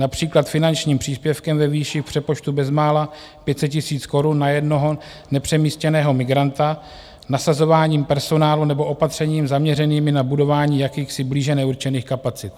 Například finančním příspěvkem ve výši v přepočtu bezmála 500 000 korun na jednoho nepřemístěného migranta, nasazováním personálu nebo opatřeními zaměřenými na budování jakýchsi blíže neurčených kapacit.